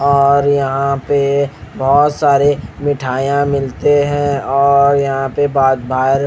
और यहां पे बोहोत सारे मिठाइयां मिलते हैं और यहां पे बाग बार--